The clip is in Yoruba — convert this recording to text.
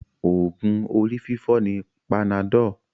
Oògùn orí fífọ́ ni panadol